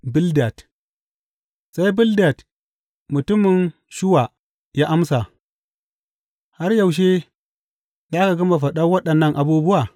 Bildad Sai Bildad mutumin Shuwa ya amsa, Har yaushe za ka gama faɗa waɗannan abubuwa?